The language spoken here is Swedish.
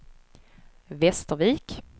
Västervik